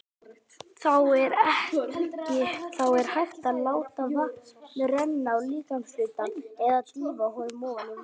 Þá er hægt að láta vatn renna á líkamshlutann eða dýfa honum ofan í vatn.